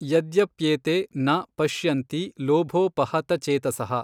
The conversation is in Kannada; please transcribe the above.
ಯದ್ಯಪ್ಯೇತೇ ನ ಪಶ್ಯಂತಿ ಲೋಭೋಪಹತಚೇತಸಃ।